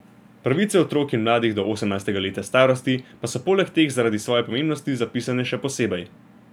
Pravice otrok in mladih do osemnajstega leta starosti pa so poleg teh zaradi svoje pomembnosti zapisane še posebej.